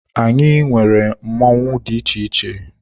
Anyị nwere mmọnwụ dị iche iche.